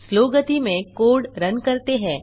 slow गति में code run करते हैं